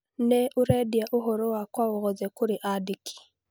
Nĩ ũrendia ũhoro wakwa wothe kũrĩ andĩki